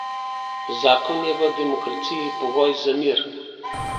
Zakon je v demokraciji pogoj za mir.